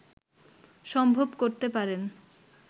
সম্ভব করতে পারেন